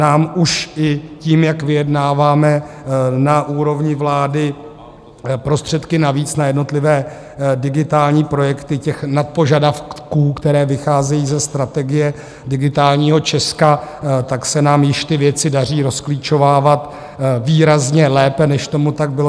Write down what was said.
Nám už i tím, jak vyjednáváme na úrovni vlády prostředky navíc na jednotlivé digitální projekty - ty nadpožadavky, které vycházejí ze Strategie digitálního Česka - tak se nám již ty věci daří rozklíčovávat výrazně lépe, než tomu tak bylo.